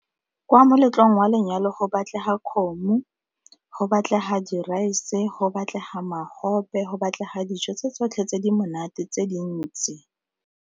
Kwa moletlong wa lenyalo go batlega kgomo, go batlega di-rice go batlega magobe, go batlega dijo tse tsotlhe tse di monate tse dintsi.